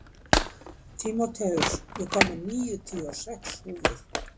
Tímóteus, ég kom með níutíu og sex húfur!